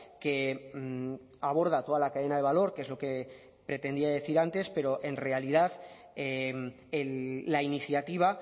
que aborda toda la cadena de valor que es lo que pretendía decir antes pero en realidad la iniciativa